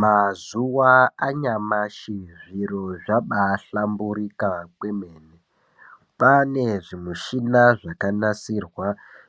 Mazuwa anyamashi zviro zvabaahlamburuka kwemene kwaane zvimishina zvakanasirwa